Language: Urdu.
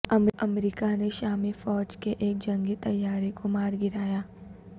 امریکہ نے شامی فوج کےایک جنگی طیارے کو مارگرایا